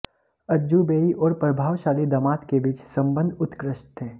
अज़जुबेई और प्रभावशाली दामाद के बीच संबंध उत्कृष्ट थे